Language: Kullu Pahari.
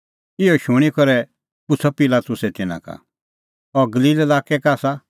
इहअ शूणीं करै पुछ़अ पिलातुसै तिन्नां का अह गलील लाक्कै का आसा